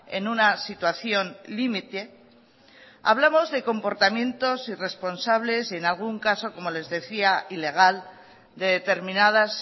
en una situación límite hablamos de comportamientos irresponsables y en algún caso como les decía ilegal de determinadas